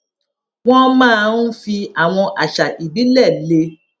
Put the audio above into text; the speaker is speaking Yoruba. wón máa ń fi àwọn àṣà ìbílè le